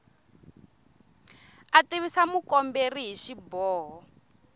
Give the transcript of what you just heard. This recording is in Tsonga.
a tivisa mukomberi hi xiboho